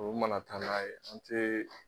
Tubabuw ma na taa n'a ye an tɛ